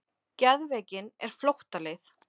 Geðveikin er flóttaleið.